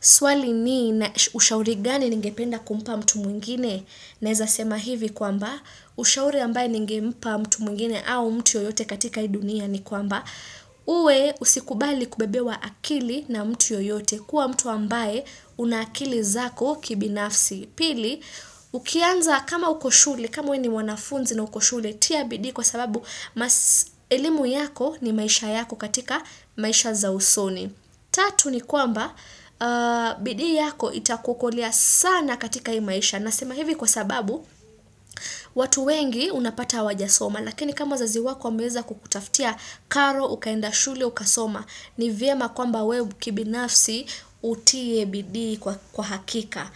Swali ni ushauri gani ningependa kumpa mtu mwingine? Naeza sema hivi kwamba, ushauri ambaye ningempa mtu mwingine au mtu yoyote katika hii dunia ni kwamba, uwe usikubali kubebewa akili na mtu yoyote kuwa mtu ambaye una akili zako kibinafsi. Pili, ukianza kama uko shule, kama we ni wanafunzi na uko shule, tiabidii kwa sababu, maselimu yako ni maisha yako katika maisha za usoni. Tatu ni kwamba bidii yako itakuokolea sana katika hii maisha na sema hivi kwa sababu watu wengi unapata hawajasoma lakini kama wazazi wako wameweza kukutaftia karo ukaenda shule ukasoma ni vyema kwamba we kibi nafsi utie bidii kwa hakika.